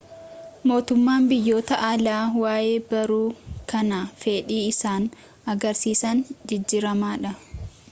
mootummaan biyyoota alaa waayee barruu kanaa fedhi isaan agarsiisan jijijjiiramaadha